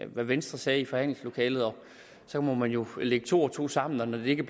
hvad venstre sagde i forhandlingslokalet så må man jo lægge to og to sammen og når det ikke